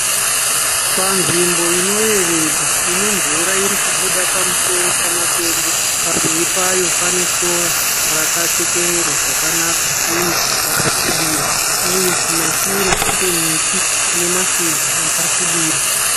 Panzvimbo ino yevedza. Inemvura irikubuda pamusoro pamatombo. Pamberi payo pane sora rakachekererwa zvakanaka . Uye rakasvibira. Uye kumashure kune miti yakasvibira .